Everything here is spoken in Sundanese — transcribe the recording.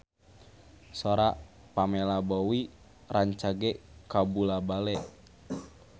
Sora Pamela Bowie rancage kabula-bale